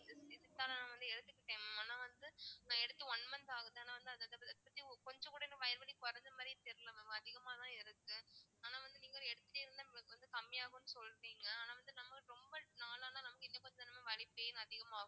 இதுக்காக வந்து நான் எடுத்துட்டுருக்கேன் mam ஆனா வந்து நா எடுத்து one month ஆகுது ஆனா வந்து அதை பத்தி கொஞ்சம் கூட இன்னும் வயிறுவலி குறைஞ்ச மாதிரி தெரியலே mam அதிகமாதான் இருக்கு ஆனா வந்து நீங்க எடுத்துட்டே இருந்தா வந்து கம்மியாகும்ன்னு சொல்றீங்க ஆனா வந்து நம்ம ரொம்ப நாளா நமக்கு வலி pain அதிகமாகும்